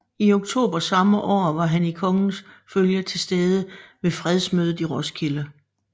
I oktober samme år var han i kongens følge tilstede ved fredsmødet i Roskilde